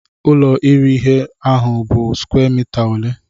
Ụlo iri ihe ahụ bụ square mita ole?